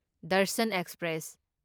Darshan express